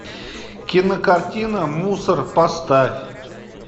кинокартина мусор поставь